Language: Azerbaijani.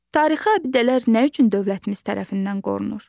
Tarixi abidələr nə üçün dövlətimiz tərəfindən qorunur?